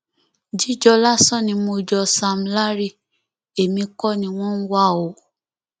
jíjọ lásán ni mo jọ sam larry èmi kọ ni wọn ń wá o